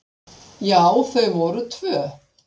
Já, þau voru tvö.